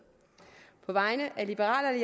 på vegne af liberal